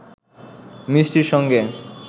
মিষ্টির সঙ্গে